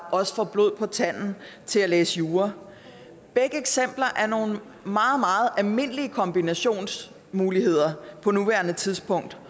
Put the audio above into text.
også får blod på tanden til at læse jura begge eksempler er nogle meget meget almindelige kombinationsmuligheder på nuværende tidspunkt